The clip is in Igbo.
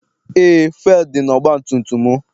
Eé, fụelụ dị n'ọgbatumtum m.